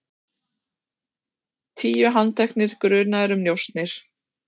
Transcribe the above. Tíu handteknir grunaðir um njósnir